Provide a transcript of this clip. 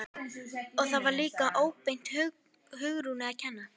Og það var líka óbeint Hugrúnu að kenna.